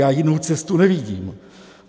Já jinou cestu nevidím.